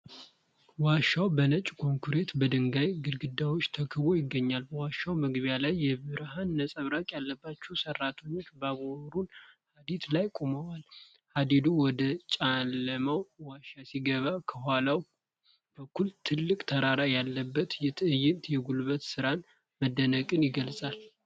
ዋሻው በነጭ ኮንክሪትና በድንጋይ ግድግዳዎች ተከቦ ይገኛል። በዋሻው መግቢያ ላይ የብርሃን ነፀብራቅ ያለባቸው ሠራተኞች በባቡር ሐዲድ ላይ ቆመዋል። ሐዲዱ ወደ ጨለማው ዋሻ ሲገባ፣ ከኋላው በኩል ትልቅ ተራራ ያለበት ትዕይንት የጉልበት ሥራንና መደነቅን ይገልጻል።